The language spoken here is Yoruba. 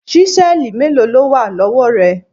Ṣísẹ́ẹ̀lì mélòó ló wà lọ́wọ́ rẹ?